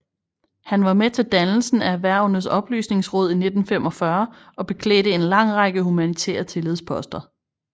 Han var med til dannelsen af Erhvervenes oplysningsråd i 1945 og beklædte en lang række humanitære tillidsposter